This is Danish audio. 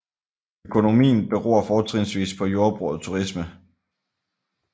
Økonomien beror fortrinsvis på jordbrug og turisme